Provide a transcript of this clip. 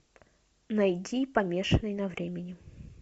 найди помешанный на времени